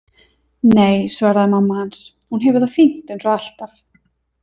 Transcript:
Nei, svaraði mamma hans, hún hefur það fínt eins og alltaf.